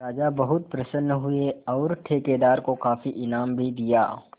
राजा बहुत प्रसन्न हुए और ठेकेदार को काफी इनाम भी दिया